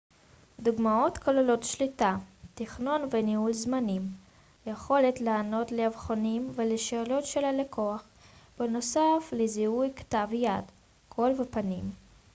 דוגמאות כוללות שליטה תכנון וניהול זמנים היכולת לענות לאבחונים ולשאלות של הלקוח בנוסף לזיהוי כתב יד קול ופנים